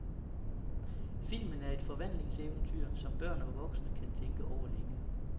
Filmen er et forvandlingseventyr, som børn og voksne kan tænke over længe.